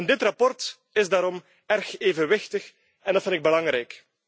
Dit verslag is daarom erg evenwichtig en dat vind ik belangrijk.